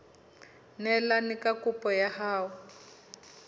neelane ka kopo ya hao